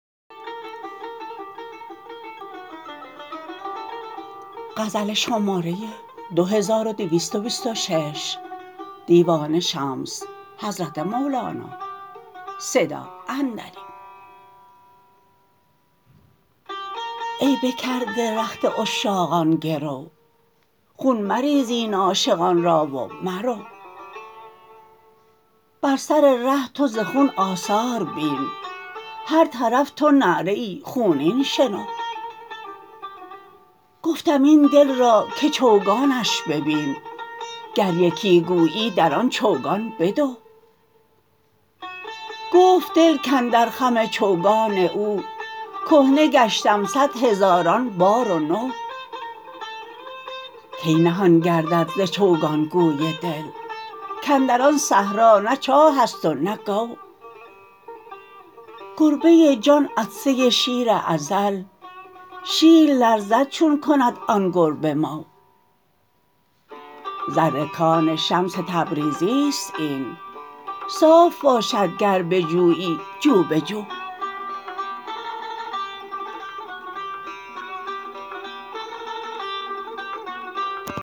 ای بکرده رخت عشاقان گرو خون مریز این عاشقان را و مرو بر سر ره تو ز خون آثار بین هر طرف تو نعره خونین شنو گفتم این دل را که چوگانش ببین گر یکی گویی در آن چوگان بدو گفت دل کاندر خم چوگان او کهنه گشتم صد هزاران بار و نو کی نهان گردد ز چوگان گوی دل کاندر آن صحرا نه چاه است و نه گو گربه جان عطسه شیر ازل شیر لرزد چون کند آن گربه مو زر کان شمس تبریزی است این صاف باشد گر بجویی جو به جو